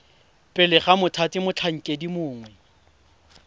pele ga mothati motlhankedi mongwe